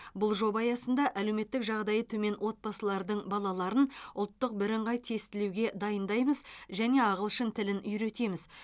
бұл жоба аясында әлеуметтік жағдайы төмен отбасылардың балаларын ұлттық бірыңғай тестілеуге дайындаймыз және ағылшын тілін үйретеміз